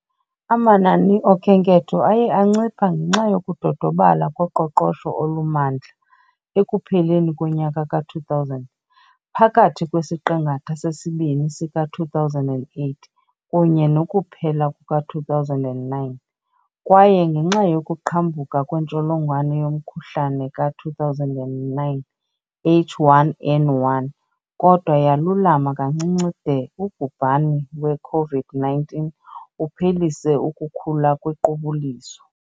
Amanani oKhenketho aye ancipha ngenxa yokudodobala koqoqosho olumandla, ekupheleni konyaka ka-2000, phakathi kwesiqingatha sesibini sika-2008 kunye nokuphela kuka-2009, kwaye ngenxa yokuqhambuka kwentsholongwane yomkhuhlane ka-2009 H1N1, kodwa yalulama kancinci de ubhubhani we-COVID-19 uphelise ukukhula ngequbuliso.